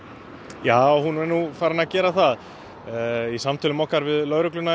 já hún er farin að gera það í samtölum okkar við lögregluna